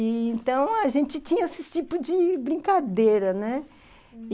E, então, a gente tinha esse tipo de brincadeira, né?